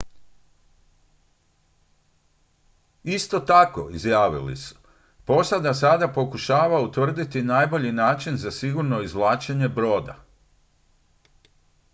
"isto tako izjavili su: "posada sada pokušava utvrditi najbolji način za sigurno izvlačenje broda.""